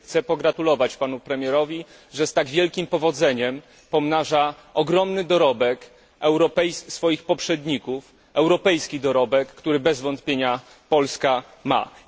Chcę pogratulować Panu Premierowi, że z tak wielkim powodzeniem pomnaża ogromny dorobek swoich poprzedników, europejski dorobek, który bez wątpienia Polska posiada.